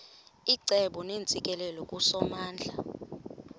icebo neentsikelelo kusomandla